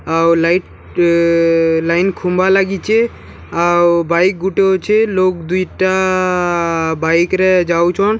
ଆଉ ଲାଇଟ୍‌ ଇ ଇ ଇ ଲାଇନ୍‌ ଖୁମ୍ବା ଲାଗିଛେ ଆଉ ବାଇକ୍‌ ଗୁଟେ ଅଛେ ଲୋକ୍‌ ଦୁଇଟା ଆ ଆ ଆ ବାଇକ୍‌ ରେ ଯାଉଛନ୍‌ ସାଇଡ୍ ରେ --